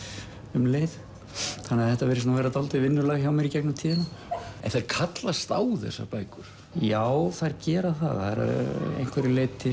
um leið þannig að þetta virðist vera dálítið vinnulag hjá mér en þær kallast á þessar bækur já þær gera það að einhverju leyti